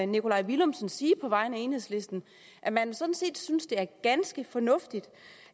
nikolaj villumsen sige på vegne af enhedslisten at man sådan set synes at det er ganske fornuftigt